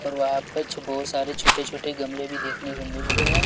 पर बहुत सारे छोटे छोटे गमले भी देखने को मिल रहे हैं।